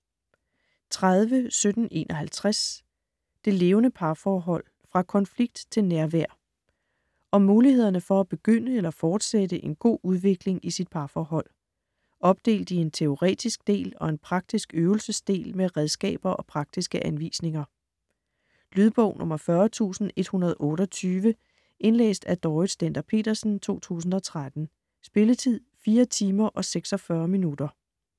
30.1751 Det levende parforhold: fra konflikt til nærvær Om mulighederne for at begynde eller fortsætte en god udvikling i sit parforhold. Opdelt i en teoretisk del og en praktisk øvelsesdel med redskaber og praktiske anvisninger. Lydbog 40128 Indlæst af Dorrit Stender-Petersen, 2013. Spilletid: 4 timer, 46 minutter.